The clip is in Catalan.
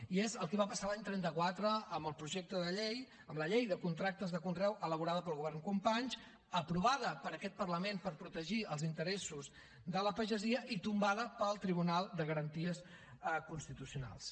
i és el que va passar l’any trenta quatre amb el projecte de llei amb la llei de contractes de conreu elaborada pel govern companys aprovada per aquest parlament per protegir els interessos de la pagesia i tombada pel tribunal de garanties constitucionals